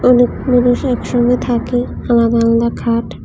লোকগুলো বসে একসঙ্গে থাকে আলাদা আলাদা খাট।